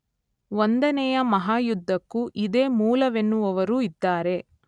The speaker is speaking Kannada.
ಒಂದನೆಯ ಮಹಾಯುದ್ಧಕ್ಕೂ ಇದೇ ಮೂಲವೆನ್ನುವವರೂ ಇದ್ದಾರೆ.